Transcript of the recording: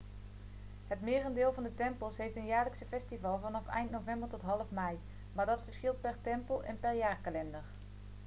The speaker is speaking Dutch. het merendeel van de tempels heeft een jaarlijks festival vanaf eind november tot half mei maar dat verschilt per tempel en per jaarkalender